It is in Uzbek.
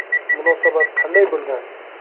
Munosabat qanday bo‘lgan?